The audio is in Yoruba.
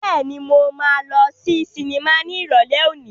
Bẹ́ẹ̀ni, mo máa lọ sí sinimá ní Ìrọ̀lẹ́ òní.